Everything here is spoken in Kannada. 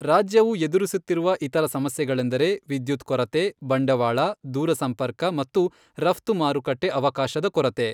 ರಾಜ್ಯವು ಎದುರಿಸುತ್ತಿರುವ ಇತರ ಸಮಸ್ಯೆಗಳೆಂದರೆ ವಿದ್ಯುತ್ ಕೊರತೆ, ಬಂಡವಾಳ, ದೂರಸಂಪರ್ಕ ಮತ್ತು ರಫ್ತು ಮಾರುಕಟ್ಟೆ ಅವಕಾಶದ ಕೊರತೆ.